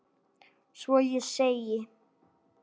Svo ég segi